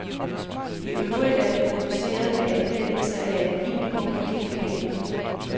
I øvrigt er den produceret med anvendelse af et minimum af kemikalier.